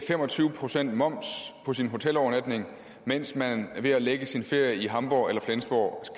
fem og tyve procent moms på sin hotelovernatning mens man ved at lægge sin ferie i hamborg eller flensborg